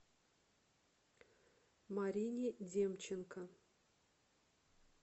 марине демченко